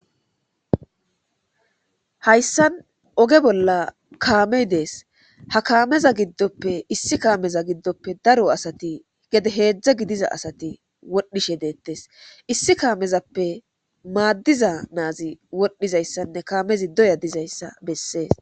Hayssan ogge bolla kaamay dess ha kaameza giddope issi kaameza diddoppe daaro asati gede heezhzha gidiza asati wodhdhishe dettes issi kaamezappe maadiza na'azi wodhdhizayssane kaamezi doyya diizayssa besses.